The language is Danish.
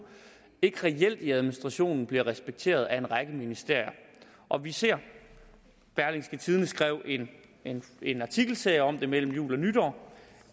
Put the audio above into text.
ikke reelt i administrationen bliver respekteret af en række ministerier og vi ser berlingske skrev en en artikelserie om det mellem jul og nytår